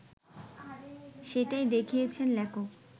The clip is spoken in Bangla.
সেটাই দেখিয়েছেন লেখক